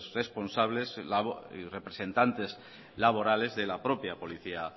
responsables y representantes laborales de la propia policía